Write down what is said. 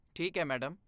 ਠੀਕ ਹੈ, ਮੈਡਮ।